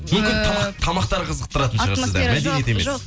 мүмкін тамақ тамақтары қызықтырады шығар сізді мәдениеті емес жоқ